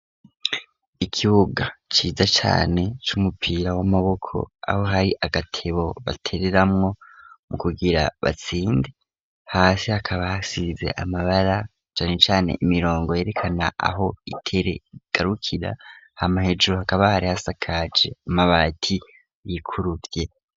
Ikibuga, ciza cane, c'umupira w'Amaboko, aho hari, agatebo ,batereramwo ,mu kugira batsinde, hasi hakaba hasize Amabara cane cane, imirongo yerekana aho itere igarukira, hama hejuru akabare ,hasakaje Amabati yikuruvye.